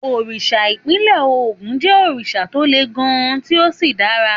Òrìṣà ìpínlẹ̀ Ògùn jẹ́ òrìṣà tó le gan-an tí ó sì dára.